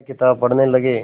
वह किताब पढ़ने लगे